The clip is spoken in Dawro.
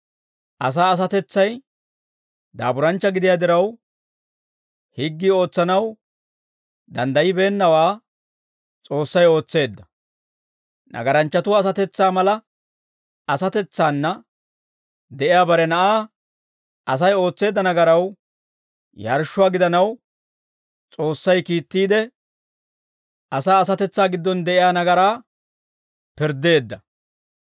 Asaa asatetsay daaburanchcha gidiyaa diraw, higgii ootsanaw danddayibeennawaa S'oossay ootseedda; nagaranchchatuwaa asatetsaa mala asatetsaana de'iyaa bare Na'aa, Asay ootseedda nagaraw yarshshuwaa gidanaw S'oossay kiittiide, asaa asatetsaa giddon de'iyaa nagaraa pirddeedda.